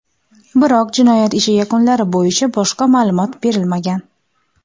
Biroq, jinoyat ishi yakunlari bo‘yicha boshqa ma’lumot berilmagan.